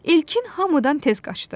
İlkin hamıdan tez qaçdı.